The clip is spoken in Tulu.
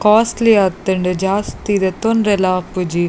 ಕಾಸ್ಟ್ಳಿ ಆತುಂಡು ಜಾಸ್ತಿ ದೆತೊನೆರೆ ಲ ಆಪುಜಿ.